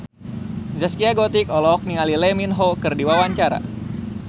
Zaskia Gotik olohok ningali Lee Min Ho keur diwawancara